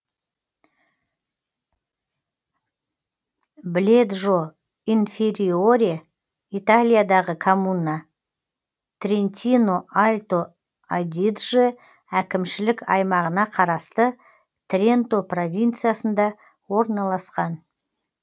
бледжо инфериоре италиядағы коммуна трентино альто адидже әкімшілік аймағына қарасты тренто провинциясында орналасқан